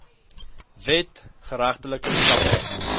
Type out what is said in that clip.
wet geregtelike stappe